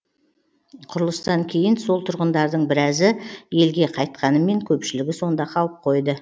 құрылыстан кейін сол тұрғындардың біразы елге қайтқанымен көпшілігі сонда қалып қойды